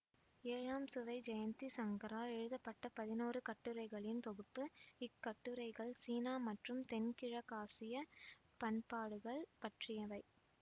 ஏழாம் சுவை ஜெயந்தி சங்கரால் எழுதப்பட்ட பதிநோரு கட்டுரைகளின் தொகுப்பு இக் கட்டுரைகள் சீனா மற்றும் தென்கிழக்காசியா பண்பாடுகள் பற்றியவை